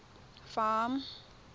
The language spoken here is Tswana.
farm